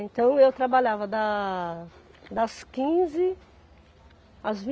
Então, eu trabalhava da das quinze às